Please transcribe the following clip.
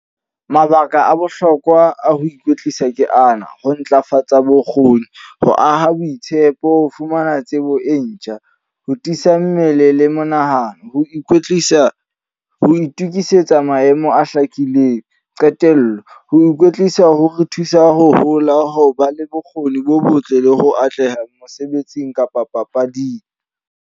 Mabaka a bohlokwa a ho ikwetlisa ke ana, ho ntlafatsa bokgoni, ho aha boitshepo, ho fumana tsebo e ntjha, ho tiisa mmele le monahano, ho ikwetlisa, ho itukisetsa maemo a hlakileng. Qetello, ho ikwetlisa ho re thusa ho hola, ho ba le bokgoni bo botle, le ho atleha mosebetsing kapa papading.